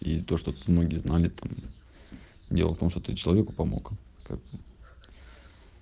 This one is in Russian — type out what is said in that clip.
есть то что многие знали там дело в том что ты человеку помог как бы